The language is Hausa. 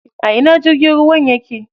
A ina jirgin ruwan yake?